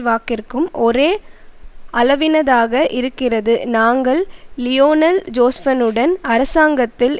வாக்கிற்கும் ஒரே அளவினதாக இருக்கிறது நாங்கள் லியோனல் ஜோஸ்பனுடன் அரசாங்கத்தில்